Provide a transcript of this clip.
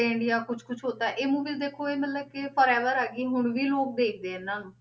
India, ਕੁਛ ਕੁਛ ਹੋਤਾ ਹੈ, ਇਹ movies ਦੇਖੋ ਇਹ ਮਤਲਬ ਕਿ forever ਹੈ ਕਿ ਹੁਣ ਵੀ ਲੋਕ ਦੇਖਦੇ ਆ ਇਹਨਾਂ ਨੂੰ,